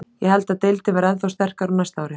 Ég held að deildin verði ennþá sterkari á næsta ári.